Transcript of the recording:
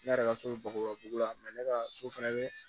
Ne yɛrɛ ka so bakurubabu la ne ka so fana bɛ